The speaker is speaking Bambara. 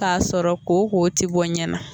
k'a sɔrɔ koko tɛ bɔ ɲɛ na.